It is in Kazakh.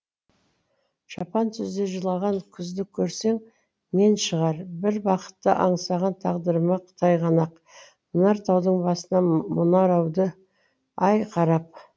жапан түзде жылаған күзді көрсең мен шығар бір бақытты аңсаған тағдырыма тайғанақ мұнар таудың басынан мұнарауды ай қарап